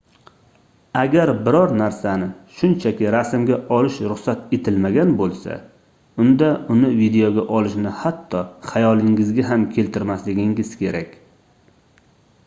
agar biror narsani shunchaki rasmga olish ruxsat etilmagan boʻlsa unda uni videoga olishni hatto xayolingizga ham keltirmasligingiz kerak